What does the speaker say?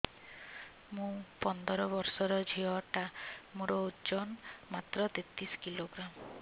ମୁ ପନ୍ଦର ବର୍ଷ ର ଝିଅ ଟା ମୋର ଓଜନ ମାତ୍ର ତେତିଶ କିଲୋଗ୍ରାମ